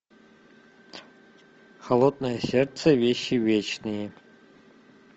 холодное сердце вещи вечные